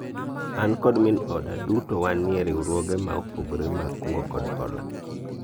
an kod min oda , duto wanie riwruoge ma opogore mag kungo kod hola